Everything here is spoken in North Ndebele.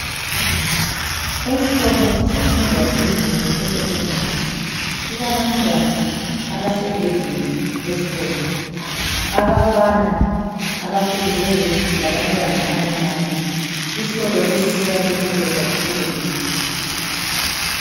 Esikolo semfundo yaphezulu esekhendari kulabantwana abasegedini lesikolo. Abafana abakhulileyo labantwana abancane. Isikolo lesi sakhiwe kuhle kakhulu.